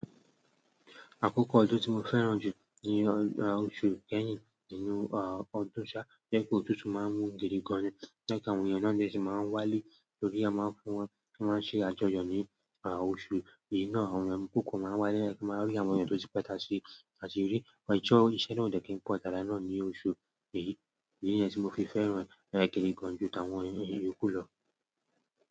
Àkókò ọdún tí mo fẹ́ràn jù ni oṣù Kẹ́hìn nínú ọdún sá. Ọ̀tutu máa ń mú gidi gan ni, nígbà tí àwọn ènìyàn náà dé, sì máa ń wá lé lórí, a máa ń fún wọn kí wọ́n sì máa jẹ́ àjọyọ̀ ní oṣù yìí ná. Àwọn ènìyàn púpọ̀ máa ń wá lẹ́kọ̀ọ́ máa rí àwọn ènìyàn tó ti pẹ́ta sí, àti rí wọn jọ. Ìṣẹ́ náà ò de kí n pọ̀ tára nàá ní oṣù yìí. Idi ni ẹ́ tí mo fi fẹ́ràn gidi gan jù tán àwọn iyokù lọ.